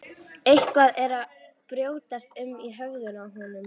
Eitthvað er að brjótast um í höfðinu á honum.